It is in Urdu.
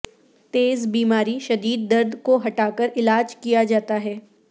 تیز بیماری شدید درد کو ہٹا کر علاج کیا جاتا ہے